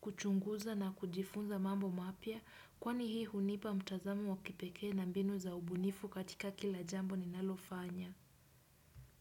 kuchunguza na kujifunza mambo mapya kwani hii hunipa mtazamu wa kipekee na mbinu za ubunifu katika kila jambo ninalofanya.